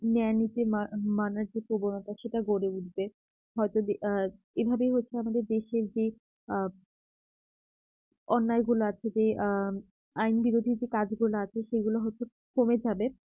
ন্যায় নীতি মা মানার যে প্রবণতা সেটা গড়ে উঠবে হয়তো আ এভাবেই হচ্ছে আমাদের দেশের যে আ অন্যায় গুলো আছে যে আ আইন বিরোধী যে কাজগুলা আছে সেগুলো হচ্ছে কমে যাবে